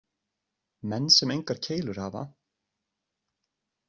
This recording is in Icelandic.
Menn sem engar keilur hafa.